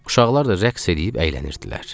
Uşaqlar da rəqs eləyib əylənirdilər.